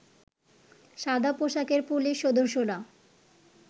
সাদা পোশাকের পুলিশ সদস্যরা